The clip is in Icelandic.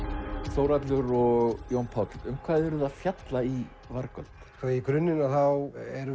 Þórhallur og Jón Páll um hvað eruð þið að fjalla í vargöld í grunninn erum